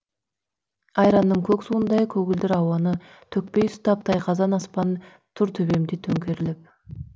айранның көк суындай көгілдір ауаны төкпей ұстап тайқазан аспан тұр төбемде төңкеріліп